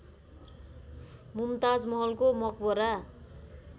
मुमताज महलको मकबरा